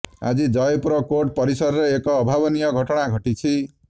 ଆଜି ଜୟପୁର କୋର୍ଟ ପରିସରରେ ଏକ ଅଭାବନୀୟ ଘଟଣା ଘଟିଛି